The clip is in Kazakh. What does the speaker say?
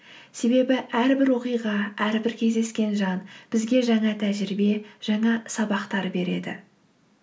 себебі әрбір оқиға әрбір кездескен жан бізге жаңа тәжірибе жаңа сабақтар береді